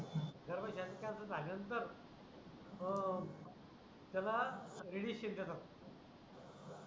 गर्भश्याचा cancer झाल्या नंतर त्याला मग करतात